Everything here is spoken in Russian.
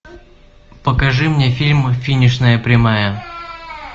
покажи мне фильм финишная прямая